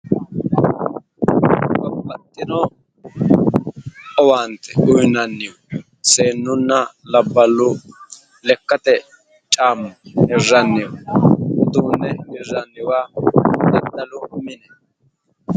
Babbaxxino owaante uuyinanni seennunna labballu lekkate caamma hirranni uduunne hirranniwa daddalu mine.